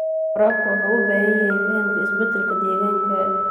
Waraabka wuxuu u baahan yahay fahamka isbeddelka deegaanka.